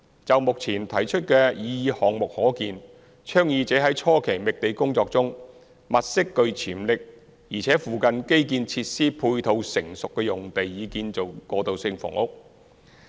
就目前提出的擬議項目可見，倡議者在初期覓地工作中，物色具潛力且附近基建設施配套成熟的用地以建造過渡性房屋。